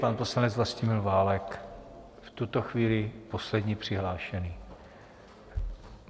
Pan poslanec Vlastimil Válek, v tuto chvíli poslední přihlášený.